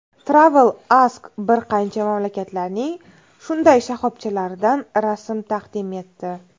TravelAsk bir qancha mamlakatlarning shunday shoxobchalaridan rasmlar taqdim etdi.